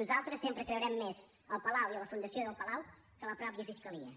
nosaltres sempre creurem més al palau i a la fundació del palau que a la mateixa fiscalia